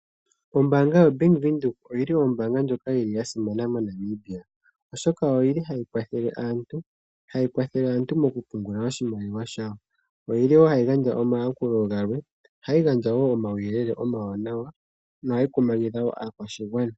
Ombaanga yo Bank Windhoek oyi li ombaanga ndjoka yi li ya simana moNamibia, oshoka oyi li ha yi kwathele aantu moku pungula oshimaliwa shawo. Oyi li wo ha yi gandja omayakulo galwe , ohayi gandja wo omauyelele omawanawa , ohayi kumagidha woo aakwashigwana.